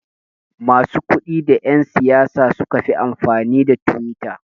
Masu kudi da yan siyasa sukafi amfani da twitter